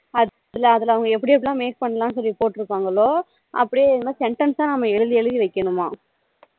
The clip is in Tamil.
அதுல அதுல அவங்க எப்படி எப்படி எல்லாம் make பண்ணலாம்னு சொல்லி போட்டுருக்காங்களோ அப்படியே நம்ம sentence நம்ம எழுதி எழுதி வைக்கணுமாம்